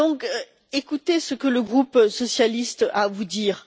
Aussi, écoutez ce que le groupe socialiste a à vous dire.